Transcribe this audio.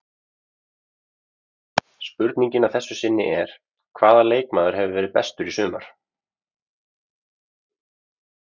Spurningin að þessu sinni er: Hvaða leikmaður hefur verið bestur í sumar?